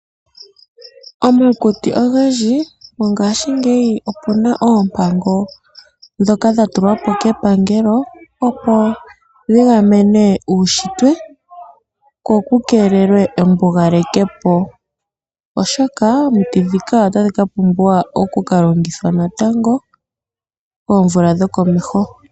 Momakuti ogendji mongashi ngeyi opuna opango dhoka dhatulwapo kepangelo opo dhigamene uushitwe ko oku kelelwe embugalekepo, oshoka omiti dhika otadhi kapumbiwa oku kalongithwa natango komvula dhokomeho.